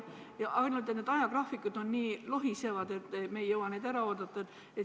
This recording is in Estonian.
Ainult et need ajagraafikud on nii lohisevad, et me ei jõua neid ära oodata.